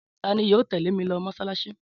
Ta ni yóò tẹ́lẹ̀ mi lọ mọ́ṣáláṣí?